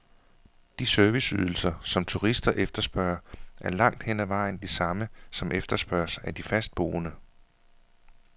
De serviceydelser, som turister efterspørger, er langt hen ad vejen de samme, som efterspørges af de fastboende.